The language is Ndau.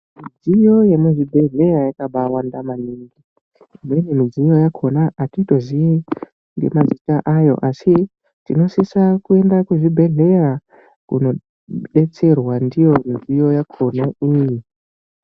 Midziyo yemuzvibhedhlera yakabawanda maningi. Imweni midziyo yakhona hatitoziyi ngemazita ayo asi tinosisira kuenda kuzvibhedhlera kunodetserwa ndiyo midziyo yakhona iyi.